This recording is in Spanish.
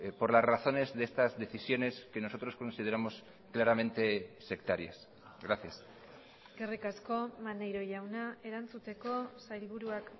por las razones de estas decisiones que nosotros consideramos claramente sectarias gracias eskerrik asko maneiro jauna erantzuteko sailburuak